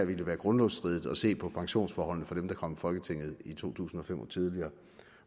ville være grundlovsstridigt at se på pensionsforholdene for dem der kom i folketinget i to tusind og fem og tidligere